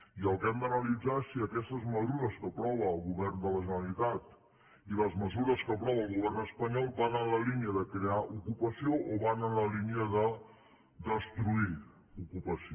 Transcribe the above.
i el que hem d’analitzar és si aquestes mesures que aprova el govern de la generalitat i les mesures que aprova el govern espanyol van en la línia de crear ocupació o van en la línia de destruir ocupació